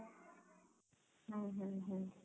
ହୁଁ ହୁଁ ହୁଁ